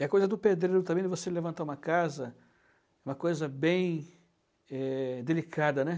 E a coisa do pedreiro também, você levantar uma casa, uma coisa bem eh delicada, né?